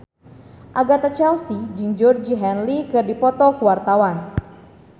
Agatha Chelsea jeung Georgie Henley keur dipoto ku wartawan